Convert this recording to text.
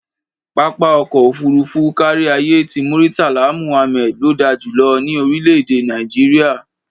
Pápá ọkọ̀ òfuurufú káríayé ti Murtala Muhammad ló da jù lọ ní orílẹ̀-èdè Nàìjíríà.